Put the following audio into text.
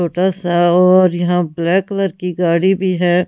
छोटा सा और यहां ब्लैक कलर की गाड़ी भी है।